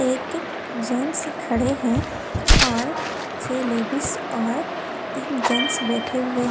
एक जेंट्स खड़े हैं और छे लेडिस और तीन जेंट्स बैठे हुए है।